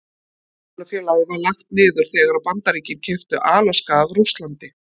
Verslunarfélagið var lagt niður þegar Bandaríkin keyptu Alaska af Rússlandi.